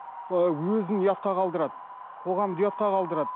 өзін ұятқа қалдырады қоғамды ұятқа қалдырады